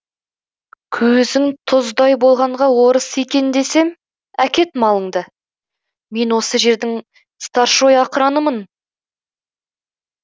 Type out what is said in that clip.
көзің тұздай болғанға орыс екен десем әкет малыңды мен осы жердің старшой ақыранымын